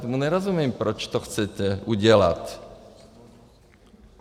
Tomu nerozumím, proč to chcete udělat.